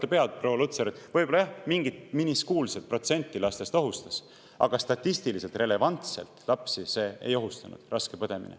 Te võite öelda, et võib-olla mingit protsenti lastest ohustas, aga statistiliselt relevantselt raske põdemine lapsi ei ohustanud.